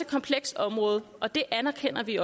komplekst område og det anerkender vi